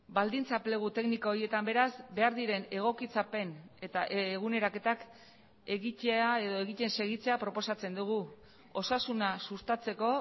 baldintza plegu tekniko horietan beraz behar diren egokitzapen eta eguneraketak egitea edo egiten segitzea proposatzen dugu osasuna sustatzeko